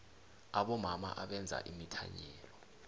abomama abenza imithanyelo